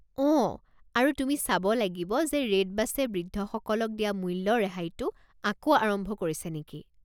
অঁ, আৰু তুমি চাব লাগিব যে ৰেডবাছে বৃদ্ধসকলক দিয়া মূল্য ৰেহাইটো আকৌ আৰম্ভ কৰিছে নেকি৷